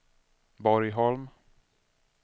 Borgholm